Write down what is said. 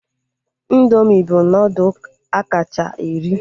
Indoomị bụ nudụ akacha eri